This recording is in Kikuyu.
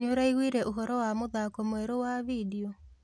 Nĩũraiguire ũhoro wa mũthako mwerũ wa bindeo?